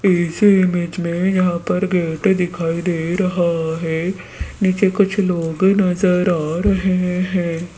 इस इमेज में यहां पर गेट दिखाई दे रहा है नीचे कुछ लोग नजर आ रहे हैं।